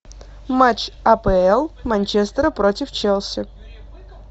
матч апл манчестера против челси